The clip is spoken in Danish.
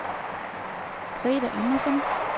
Grethe Andersson